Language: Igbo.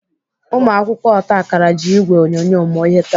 Ụmụakwụkwọ otakara ji ìgwè onyonyo mụọ ihe taa.